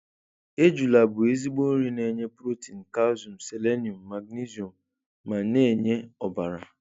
Ejula bụ ezigbo nri na-enye protein, calcium, selenium, magnesium ma na-enye ọbara.